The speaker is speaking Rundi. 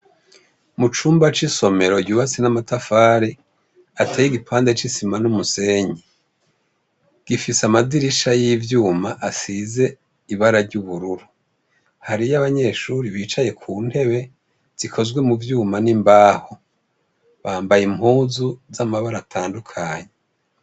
Mucumba c'isomero yubakishijwe amatafari ateye igipande c'isima n'umusenyi gifise amadirisha y'ivyuma ,asize ibara ry'ubururu, hariyo abanyeshure bicaye kuntebe zikozwe muvyuma n'imbaho, bambaye impuzu z'amabara atandukanye.